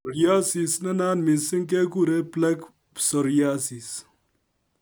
Psoriasis nenayat missing keguren plaque psoriasis